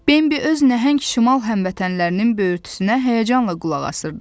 Bembi öz nəhəng şimal həmvətənlərinin böyürtüsünə həyəcanla qulaq asırdı.